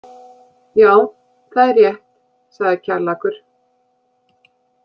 Já, það er rétt, sagði Kjallakur.